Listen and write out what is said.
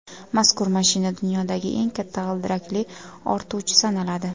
Mazkur mashina dunyodagi eng katta g‘ildirakli ortuvchi sanaladi.